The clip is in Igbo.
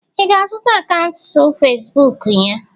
ị ga-azụta akaụntụ Facibụkụ ya?